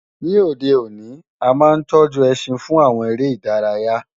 Ní òde òní, a máa ń tọ́jú ẹṣin fún àwọn eré ìdárayá